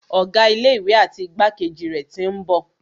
Ọ̀gá ilé ìwé àti igbákejì rẹ̀ tí ń bọ̀.